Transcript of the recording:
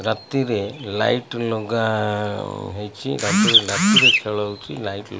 ରାତିରେ ଲାଇଟ୍ ଲଗା ହେଇଚି ରାତି ଖେଳ ହୋଉଚି ନାଇଟ୍ --